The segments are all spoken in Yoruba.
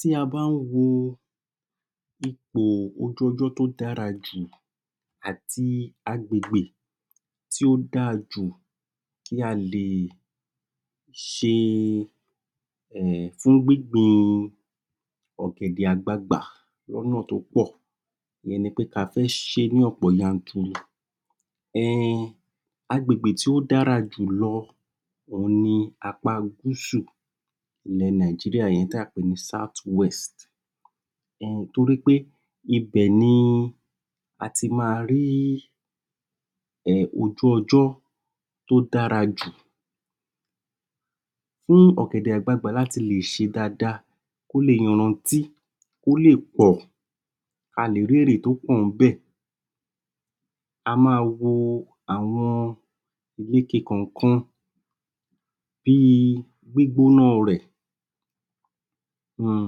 Tí a bá ń wo ipò ojú-ọjọ́ tó dára jù àti agbègbè tí ó dáa jù kí a lè ṣe, um fún gbígbìn ọ̀gẹ̀dẹ̀ àgbagbà l'ọ́nà tó pọ̀, ìyẹn ni pé kí a fẹ́ ṣe é l'ọ́nà yanturu um agbègbè tí ó dára jù lọ òun ni apá gúúsù ilẹ̀ Nàìjíríà, ìyẹn tí a pè ní southwest nítorí pé ibẹ̀ ni àti máa rí um ojú-ọjọ́ tó dára jù fún ọ̀gẹ̀dẹ̀ àgbagbà láti le ṣe dáadáa kó lè yarantí, kó lè pọ̀, a lè rí èrè tó pọ̀ níbẹ̀. a máa wo àwọn ìlekè kàn-àn-kan bí i gbígbóná rẹ̀. um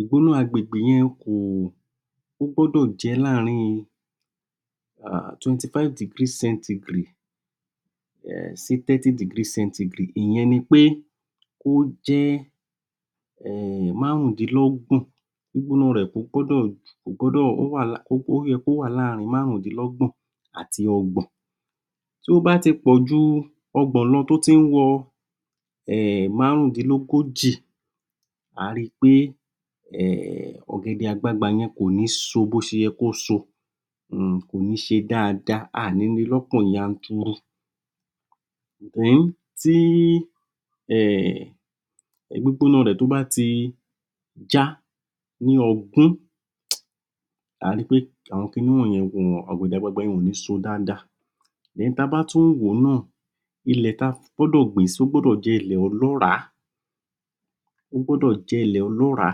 ìgbóná agbègbè yẹn kò, ó gbọ́dọ̀ jẹ́ láàrín um twenty-five degree centigrade um sí thirty degree centigrade. Ìyẹn ni pé ó jẹ́ um márùndínlọ́gbọ̀n gbígbóná rẹ̀ kò gbọdọ̀ ó yẹ kó wà láàrín márùndínlọ́gbọ̀n àti ọgbọ̀n. Tó bá ti pọ̀ jù ọgbọ̀n lọ, tó tí ń wọ márùndínlógójì à á ri pé ọ̀gẹ̀dẹ̀ àgbagbà kò ní so bó ṣe yẹ kó so kò ní ṣe dáadáa, a ò ní ri lọ́pọ̀ yanturu. Tí um gbígbóná rẹ̀, tó bá ti já ní ogún à a ri pé àwọn kiní wọ̀nyẹn, ọ̀gẹ̀dẹ̀ àgbagbà yẹn ò ni so dáadáa ta bá tún wò ó náà ilẹ̀ tí a gbọ́dọ́ gbìn-ín sí, ó gbọ́dọ̀ jẹ́ ilẹ̀ ọlọ́ràá, ó gbọ́dọ̀ jẹ́ ilẹ̀ ọlọ́ràá,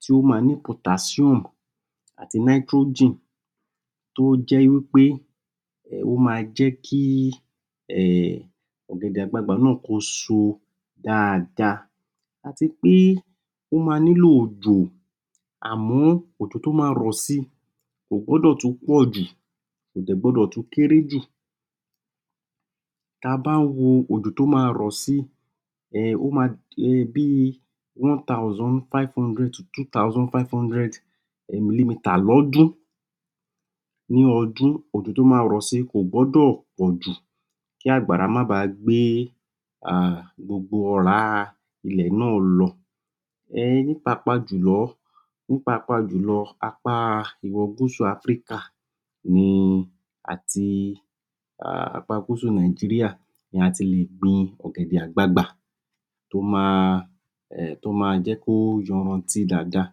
tí ó máa ní potassium àti nitrogen tó jẹ́ wí pé, ó máa jẹ́ kí, um ọ̀gẹ̀dẹ̀ àgbagbà náà, kó so dáadáa àti pé ó máa nílò òjò àmọ́, òjò tó máa rọ̀ si kò gbọdọ̀ tún pọ̀jù, kò dẹ̀ gbọdọ̀ tún kéré jù. Ta bá ń wo òjò tó máa rọ̀ si um bí i one thousand five hundred sí two thousand five hundred milimeter lọ́dún. Nínú ọdún, òjò tó máa rọ̀ si, kò gbọdọ̀ pọ̀jù kí àgbàrá máa ba gbé um gbogbo ọ̀rá ilẹ̀ náà lọ, pàápàá jùlọ ní pàápàá julọ, apá ìwọ̀ gúúsù Áfíríkà. ní àti apá gúúsù Nàìjíríì ni a ti lè gbin ọ̀gẹ̀dẹ̀ àgbagba. tó máa um tó máa jẹ́ kó yarantí dáadáa.